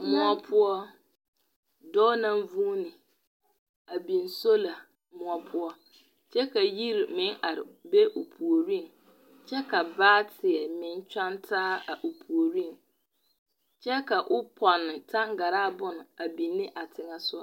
Moɔ poɔ dɔɔ naŋ vũũni a biŋ sola moɔ poɔ kyɛ ka yiri meŋ are be o puoriŋ. kyɛ ka baateɛ meŋ kyɔŋ taa a o puoriŋ kyɛ ka o pɔnne taŋgaraa bone a biine a teŋɛ soga.